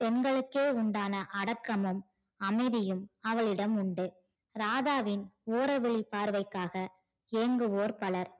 பெண்களுக்கே உண்டான அடக்கமும் அமைதியும் அவளிடம் உண்டு ராதாவின் ஓற விழி பார்வைக்காக ஏன்குவோர் பலர்